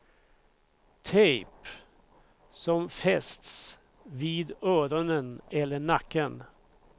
Tejp som fästs vid öronen eller nacken.